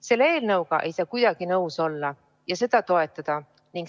Selle eelnõuga ei saa kuidagi nõus olla ja seda toetada.